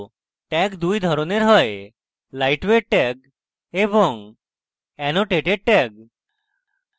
tags দুই ধরনের হয়: